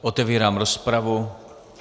Otevírám rozpravu.